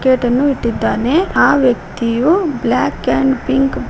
plate ಅನ್ನು ಇಟ್ಟಿದ್ದಾನೆ ಆ ವ್ಯಕ್ತಿಯು ಬ್ಲಾಕ್ ಅಂಡ್ ಪಿಂಕ್ --